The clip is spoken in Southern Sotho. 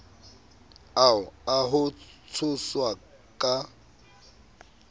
ao a ho tshoswa ka